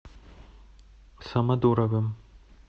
самодуровым